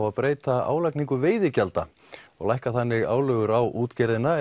að breyta álagningu veiðigjalda og lækka þannig álögur á útgerðina